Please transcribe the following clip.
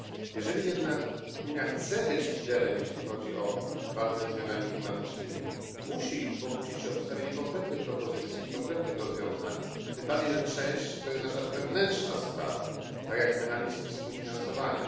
Jeżeli jednak Unia chce być liderem jeśli chodzi o walkę ze zmianami klimatycznymi, musi pokusić się o przedstawienie konkretnych propozycji i konkretnych rozwiązań, tym bardziej że część to jest nasza wewnętrzna sprawa, tak jak mechanizm współfinansowania.